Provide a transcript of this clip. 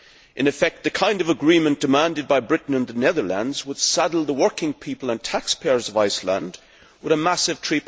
In effect, the kind of agreement demanded by Britain and the Netherlands would saddle the working people and taxpayers of Iceland with a massive EUR